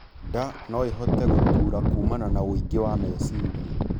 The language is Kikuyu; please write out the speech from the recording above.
Ndaa noĩhote gutura kuumana na ũingĩ wa mecirĩa